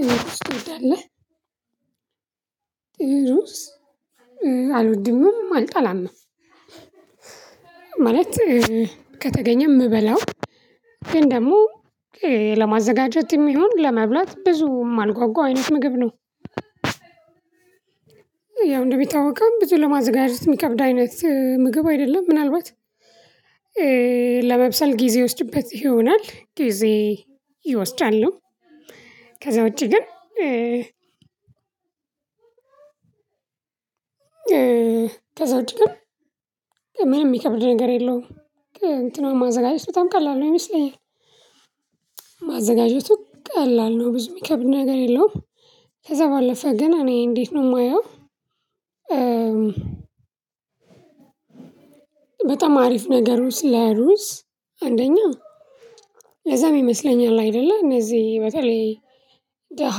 እሩዝ ትወዳለህ? እሩዝ አልወድምም አልጠላምም ማለት ከተገኘ ምበላው ግን ደሞ ለማዘጋጀትም ቢሆን ለመብላት ብዙም ማልጓጓ አይነት ምግብ ነው። ያው እንደሚታወቀውም ብዙ ለማዘጋጀት ሚከብድ አይነት ምግብ አይደለም ምናልባት ለመብሰል ጊዜ ይወስድበት ይሆናል ጊዜ ይወስዳሉም። ከዛ ውጪ ግን ከዛ ውጪ ግን ምንም ሚከብድ ነገር የለውም እንትኑን ማዘጋጀት በጣም ቀላል ነው ይመስለኛል። ማዘጋጀቱ ቀላል ነው ብዙ ሚከብድ ነገር የለውም። ከዛ ባለፈ ግን እኔ እንዴት ነው ማየው። በጣም አሪፍ ነገሩ ስለ ሩዝ አንደኛ ለዛም ይመስለኛል አይደለ እነዚ በተለይ ደሃ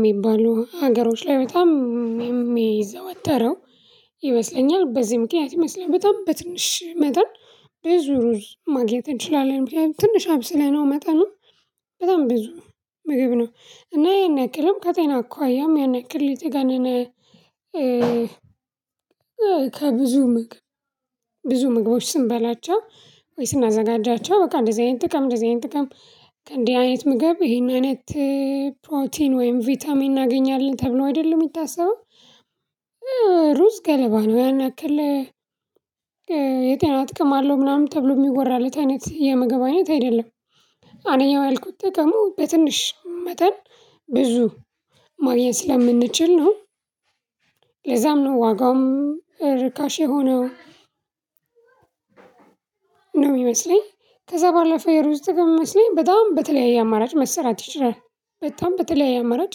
ሚባሉ ሀገሮች ላይ በጣም የሚዘወተረው ይመስለኛል በዚ ምክንያት ይመስለኛል። በጣም በትንሽ መጠን ብዙ ሩዝ ማግኘት እንችላለን ምክንያቱም ትንሽ አብስለነው መጠኑን በጣም ብዙ ምግብ ነው እና ይሄን ያክልም ከጤና አኳያም ያን ያክል የተጋነነ። ከብዙ ምግብ ብዙ ምግቦች ስንበላቸው ወይ ስናዘጋጃቸው በቃ እንደዚህ አይነት ጥቅም እንደዚህ አይነት ጥቅም። ከእንዲህ አይነት ምግብ ይሄን አይነት ፕሮቲን ወይም ቪታሚን እናገኛለን ተብሎ አደለ ሚታሰበው። ሩዝ ገለባ ነው ያንያክል የጤና ጥቅም አለው ምናምን ተብሎ ሚወራለት አይነት የምግብ አይነት አይደለም። አንደኛው ያልኩት ጥቅሙ በትንሽ መጠን ብዙ ማግኘት ስለምንችል ነው። ለዛም ነው ዋጋውም ርካሽ የሆነው። ነው ሚመስለኝ ከዛ ባለፈ የሩዝ ጥቅም ሚመስለኝ በጣም በተለያየ አማራጭ መሰራት ይችላል። በጣም በተለያየ አማራጭ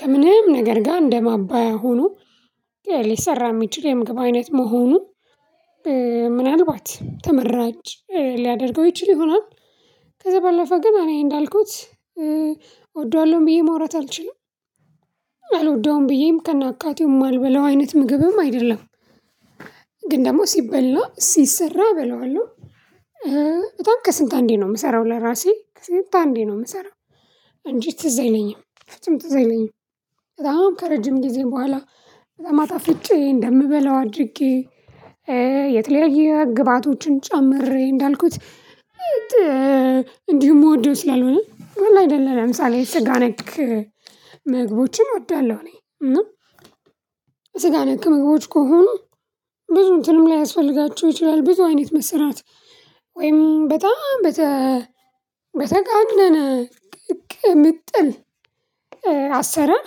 ከምንም ነገር ጋር እንደማባያ ሆኖ ሊሰራ ሚችል የምግብ አይነት መሆኑን ምናልባት ተመራጭ ሊያደርገው ይችል ይሆናል። ከዛ ባለፈ ግን አኔ እንዳልኩት እወደዋለውም ብዬ ማውራት አልችልም አልወደውም ብዬም ከናካቴው ማልበላው አይነት ምግብም አይደለም። ግን ደሞ ሲበላ ሲሰራ እበላዋለው። በጣም ከስንት አንዴ ነው ምሰራው ለራሴ ከስንት አንዴ ነው ምሰራው እንጂ ትዝ አይለኝም ፍጹም ትዝ አይለኝም። በጣም ከረጅም ጊዜ በኋላ በጣም አጣፍጬ እንደምበላው አድርጌ የተለያየ ግብአቶችን ጨምሬ እንዳልኩት። እንዲው ምወደው ስላልሆነ አለ አደለ ለምሳሌ ስጋ ነክ ምግቦችን እወዳለሁ። እኔ እና ነክ ምግቦች ከሆኑ ብዙ እንትንም ላያስፈልጋችሁ ይችላል ብዙ አይነት መሰራት ወይም በጣም በተጋነነ ቅምጥል አሰራር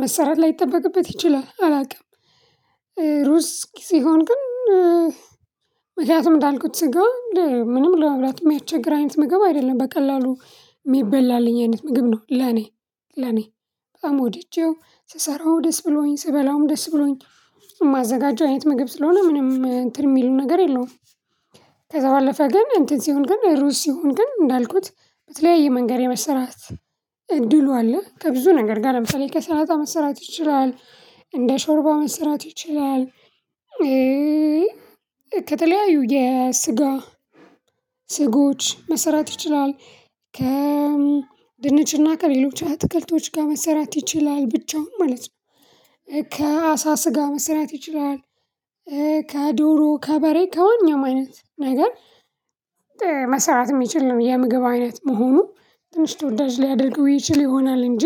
መሰራት ላይጠበቅበት ይችላል አላቅም። ሩዝ ሲሆን ግን ምክንያቱም እንዳልኩት ስጋ ምንም ለመብላት ሚያስቸግር አይነት ምግብ አይደለም በቀላሉ ሚበላልኝ አይነት ምግብ ነው ለኔ ለኔ በጣም ወድጄው ስሰራው ደስ ብሎኝ ስበላውም ደስ ብሎኝ። ማዘጋጀው አይነት ምግብ ስለሆነ ምንም እንትን ሚሉ ነገር የለውም። ከዛ ባለፈ ግን እንትን ሲሆን ግን ሩዝ ሲሆን ግን እንዳልኩት በተለያየ መንገድ የመሰራት እድሉ አለ ከብዙ ነገር ጋር ለምሳሌ ከሰላጣ መሰራት ይችላል። እንደ ሾርባ መሰራት ይችላል። ከተለያዩ የስጋ ስጎች መሰራት ይችላል። ከድንችና ከሌሎች አትክልቶች ጋ መሰራት ይችላል ብቻውን ማለት ነው። ከአሳ ስጋ መሰራት ይችላል። ከዶሮ ከበሬ ከማንኛው አይነት ነገር መሰራት ሚችል ነው የምግብ አይነት መሆኑ ትንሽ ተወዳጅ ሊያደርገው ይችል ይሆናል እንጂ።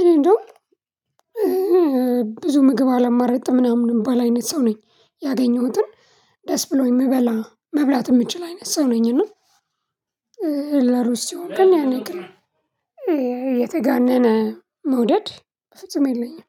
እኔ እንደውም ብዙ ምግብ አላማርጥም ምናምን ምባል አይነት ሰው ነኝ። ያገኘሁትን ደስ ብሎኝ ምበላ መብላት ምችል አይነት ሰው ነኝ። እና ለሩዝ ሲሆን ግን ያንያክል የተጋነነ መውደድ ፍጹም የለኝም።